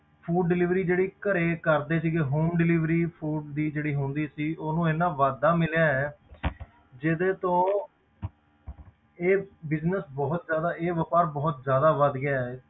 Food delivery ਜਿਹੜੀ ਘਰੇ ਕਰਦੇ ਸੀਗੇ home delivery food ਦੀ ਜਿਹੜੀ ਹੁੰਦੀ ਸੀ, ਉਹਨੂੰ ਇੰਨਾ ਵਾਧਾ ਮਿਲਿਆ ਹੈ ਜਿਹਦੇ ਤੋਂ ਇਹ business ਬਹੁਤ ਜ਼ਿਆਦਾ, ਇਹ ਵਾਪਾਰ ਬਹੁਤ ਜ਼ਿਆਦਾ ਵੱਧ ਗਿਆ ਹੈ,